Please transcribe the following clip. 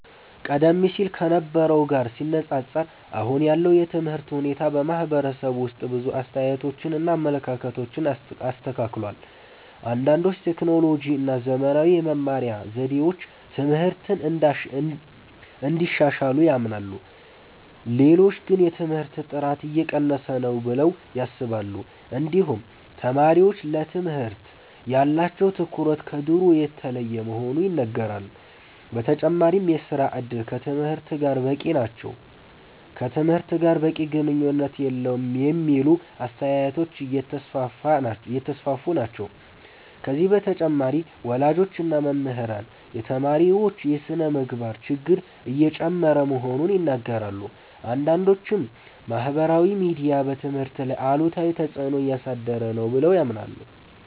ቀደም ሲል ከነበረው ጋር ሲነፃፀር አሁን ያለው የትምህርት ሁኔታ በማህበረሰቡ ውስጥ ብዙ አስተያየቶችን እና አመለካከቶችን አስከትሏል። አንዳንዶች ቴክኖሎጂ እና ዘመናዊ የመማሪያ ዘዴዎች ትምህርትን እንዳሻሻሉ ያምናሉ። ሌሎች ግን የትምህርት ጥራት እየቀነሰ ነው ብለው ያስባሉ። እንዲሁም ተማሪዎች ለትምህርት ያላቸው ትኩረት ከድሮ የተለየ መሆኑ ይነገራል። በተጨማሪም የሥራ እድል ከትምህርት ጋር በቂ ግንኙነት የለውም የሚሉ አስተያየቶች እየተስፋፉ ናቸው። ከዚህ በተጨማሪ ወላጆች እና መምህራን የተማሪዎች የስነ-ምግባር ችግር እየጨመረ መሆኑን ይናገራሉ። አንዳንዶችም ማህበራዊ ሚዲያ በትምህርት ላይ አሉታዊ ተፅዕኖ እያሳደረ ነው ብለው ያምናሉ።